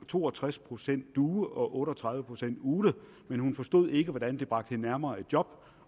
to og tres procent due og otte og tredive procent ugle men hun forstod ikke hvordan det bragte hende nærmere et job